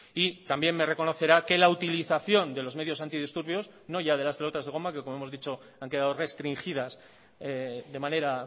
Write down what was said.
y también me reconocerá que la utilización de los medios antidisturbios no ya de las pelotas de goma que como hemos dicho han quedado restringidas de manera